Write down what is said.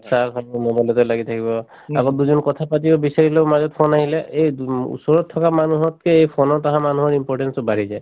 চাহ খাব দিলে mobile তে লাগি থাকিব আকৌ দুজন কথা পাতিব বিচাৰিলেও মাজত phone আহিলে এই ওচৰত থকা মানুহতকে এই phone ত আহা মানুহৰ importance তো বাঢ়ি যায়